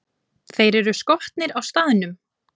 Þeir eru skotnir á staðnum!